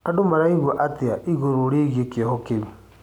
Andũ maraigua atĩa igũrũ rĩgiĩ kĩoho kĩu?